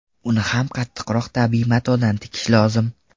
Uni ham qattiqroq tabiiy matodan tikish lozim.